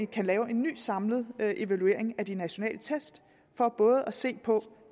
kan lave en ny samlet evaluering af de nationale test for at se på